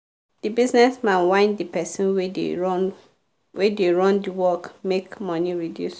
the business man whine the person wey da run wey da run d work make money reduce